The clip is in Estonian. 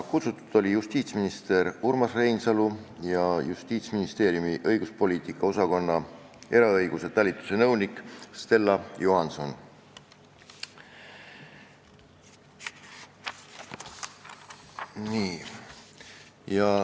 Kutsutud olid justiitsminister Urmas Reinsalu ja Justiitsministeeriumi õiguspoliitika osakonna eraõiguse talituse nõunik Stella Johanson.